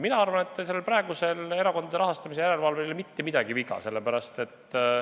Mina arvan, et praegusel erakondade rahastamise järelevalvel ei ole mitte midagi viga.